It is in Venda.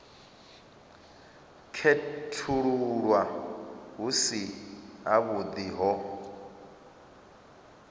khethululwa hu si havhuḓi ho